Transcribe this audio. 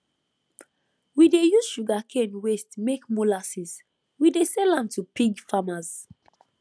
we dey use sugarcane waste make molasses we dey sell am to pig farmers